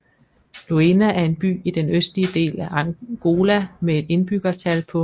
Luena er en by i den østlige del af Angola med et indbyggertal på